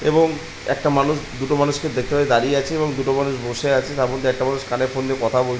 এবং একটা মানুষ দুটো মানুষ কে দেখতে পাচ্ছি দাঁড়িয়ে আছে এবং দুটো মানুষ বসে আছে তার মধ্যে একটা মানুষ কানে ফোন দিয়ে কথা বল --